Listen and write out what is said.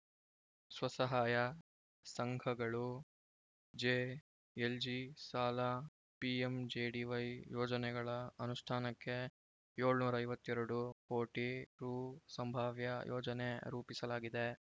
ಸ್ವಸಹಾಯ ಸಂಘಗಳು ಜೆಎಲ್ಜಿ ಸಾಲ ಪಿಎಂಜೆಡಿವೈ ಯೋಜನೆಗಳ ಅನುಷ್ಠಾನಕ್ಕೆ ಏಳುನೂರ ಐವತ್ತ್ ಎರಡು ಕೋಟಿ ರು ಸಂಭಾವ್ಯ ಯೋಜನೆ ರೂಪಿಸಲಾಗಿದೆ